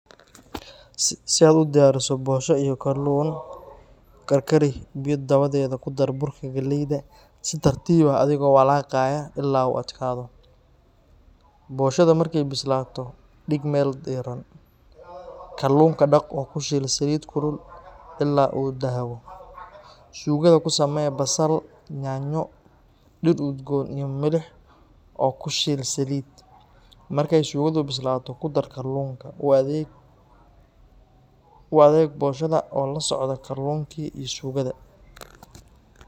Si aad u diyaariso bosho iyo kalluun, karkari biyo dabadeed ku dar burka galleyda si tartiib ah adigoo walaaqaya ilaa uu adkaado. Ugali markuu bislaado dhig meel diiran. Kalluunka dhaq oo ku shiil saliid kulul ilaa uu dahabo. Suugada ku samee basal, yaanyo, dhir udgoon iyo milix oo ku shiil saliid. Markay suugadu bislaato ku dar kalluunka. U adeeg bosha oo la socda kalluunka iyo suugada.